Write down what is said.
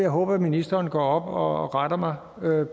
håbe at ministeren går op og retter mig